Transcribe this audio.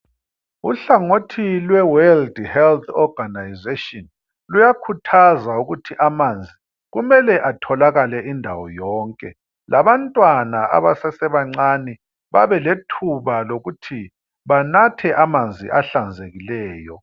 Uhlangothi lwe World Wealth Organization luyakhuthaza ukuthi amanzi kumele atholakale indawo yonke labantwana abasase bancane babelethuba lokuthi banathe amanzi ahlanzekileyo.